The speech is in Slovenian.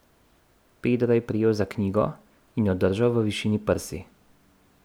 Pedro je prijel za knjigo in jo držal v višini prsi.